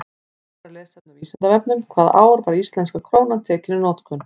Frekara lesefni á Vísindavefnum: Hvaða ár var íslenska krónan tekin í notkun?